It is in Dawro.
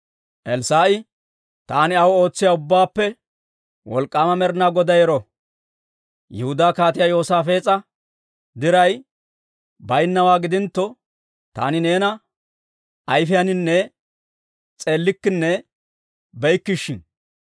Elssaa'i, «Taani aw ootsiyaa Ubbaappe Wolk'k'aama Med'inaa Goday ero! Yihudaa Kaatiyaa Yoosaafees'a diray bayinnawaa gidintto, taani neena ayfiyaaninne s'eellikkenne be'ikke shin.